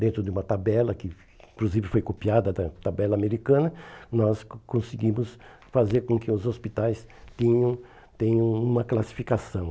Dentro de uma tabela, que inclusive foi copiada da tabela americana, nós con conseguimos fazer com que os hospitais tenham tenham uma classificação.